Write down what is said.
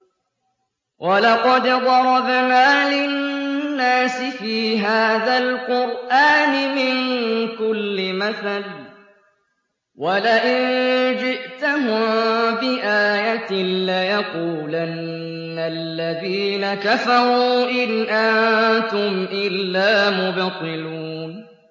وَلَقَدْ ضَرَبْنَا لِلنَّاسِ فِي هَٰذَا الْقُرْآنِ مِن كُلِّ مَثَلٍ ۚ وَلَئِن جِئْتَهُم بِآيَةٍ لَّيَقُولَنَّ الَّذِينَ كَفَرُوا إِنْ أَنتُمْ إِلَّا مُبْطِلُونَ